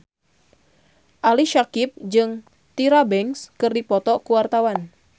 Ali Syakieb jeung Tyra Banks keur dipoto ku wartawan